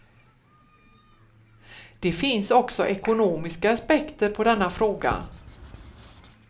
Det finns också ekonomiska aspekter på denna fråga.